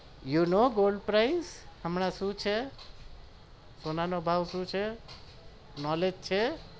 you નો gold price હમણાં શું છે સોના નો ભાવ શું છે knowledge છે